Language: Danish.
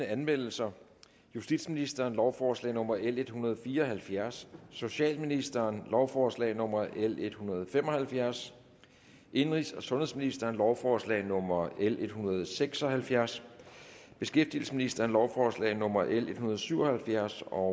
anmeldelser justitsministeren lovforslag nummer l en hundrede og fire og halvfjerds socialministeren lovforslag nummer l en hundrede og fem og halvfjerds indenrigs og sundhedsministeren lovforslag nummer l en hundrede og seks og halvfjerds beskæftigelsesministeren lovforslag nummer l en hundrede og syv og halvfjerds og